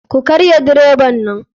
Ku karya direban nan.